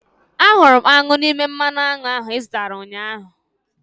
Ahụrụ m aṅụ n'ime mmanụ aṅụ ahụ m zụtara ụnyahụ